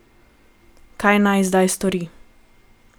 Kaj naj zdaj stori?